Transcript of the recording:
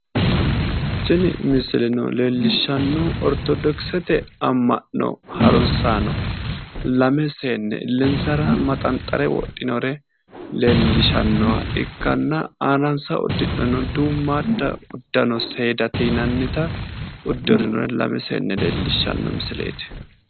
Tini misileno leellishshannohu ortodoksete amma'no haruunsaano lame seenne illensara maxanxare wodhinore leellishannoha ikkanna aanansa uddidhino duummaadda uddano seedate yinannita uddirinore lame seenne leellishshanno misileeti.